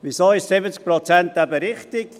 Wieso sind 70 Prozent eben richtig?